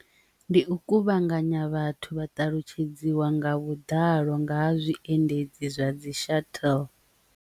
Ndi u kuvhanganya vhathu vha talutshedzwa nga vhuḓalo nga ha zwiendedzi zwa dzi shathele.